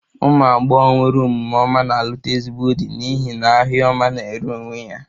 Umu agbogho nwere omume ọma na-alụta ezigbo di n'ihi n'ahia ọma na-ere onwe ya